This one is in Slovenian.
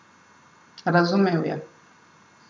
Razumel je.